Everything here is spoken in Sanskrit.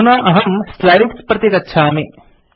अधुना अहम् स्लाइड्स् प्रति गच्छामि